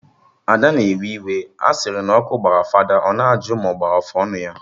Ada na akpasu iwe, a sịrị na ọkụ gbara fada, ọ na ajụ ma ọ gbara afụ ọnụ ya